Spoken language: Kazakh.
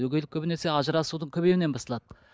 өгейлік көбінесе ажырасудың көбеюінен басталады